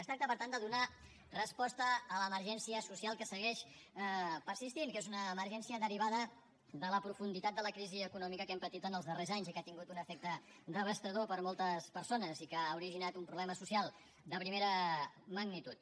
es tracta per tant de donar resposta a l’emergència social que segueix persistint que és una emergència derivada de la profunditat de la crisi econòmica que hem patit en els darrers anys i que ha tingut un efecte devastador per a moltes persones i que ha originat un problema social de primera magnitud